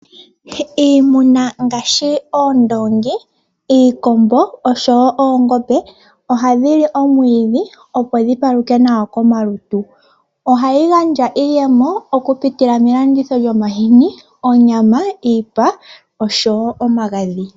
Iimuna ngaashi oondoongi, iikombo oshowo oongombe, oha dhili omwiidhi opo dhi paluke nawa komalutu. Ohayi gandja iiyemo okupitila melanditho lyomahini, onyama, iipa oshowo omagadhi.